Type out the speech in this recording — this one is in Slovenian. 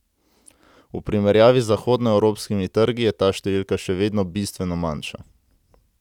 V primerjavi z zahodnoevropskimi trgi je ta številka še vedno bistveno manjša.